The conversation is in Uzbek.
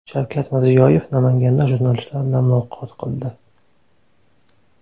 Shavkat Mirziyoyev Namanganda jurnalistlar bilan muloqot qildi.